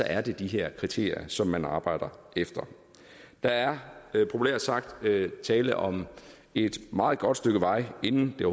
er det de her kriterier som man arbejder efter der er populært sagt tale om et meget godt stykke vej inden det